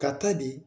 Ka taa di